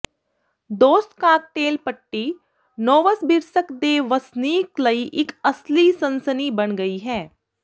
ਦੋਸਤ cocktail party Novosibirsk ਦੇ ਵਸਨੀਕ ਲਈ ਇੱਕ ਅਸਲੀ ਸਨਸਨੀ ਬਣ ਗਈ ਹੈ